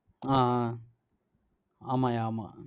ஆஹ் ஆஹ் ஆமாய்யா ஆமா